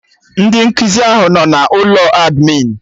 Ndị nkụzi ahụ anọ na ụlọ admịn?